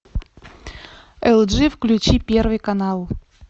элджи включи первый канал